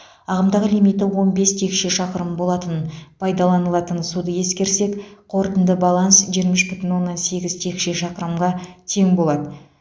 ағымдағы лимиті он бес текше шақырым болатын пайдаланылатын суды ескерсек қорытынды баланс жиырма үш бүтін оннан сегіз текше шақырымға тең болады